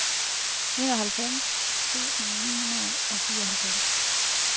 enoghalvfjerds tusind ni hundrede og fireoghalvfems